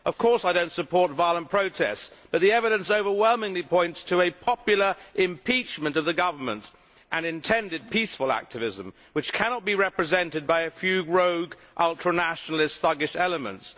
I do not, of course, support violent protests, but the evidence overwhelmingly points to a popular impeachment of the government and intended peaceful activism which cannot be represented by a few rogue ultranationalist thuggish elements.